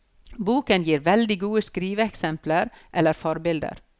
Boken gir veldig gode skriveeksempler eller forbilder.